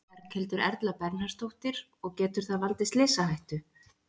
Berghildur Erla Bernharðsdóttir: Og getur það valdið slysahættu?